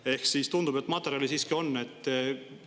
Ehk tundub, et materjali on.